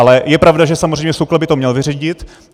Ale je pravda, že samozřejmě SÚKL by to měl vyřídit.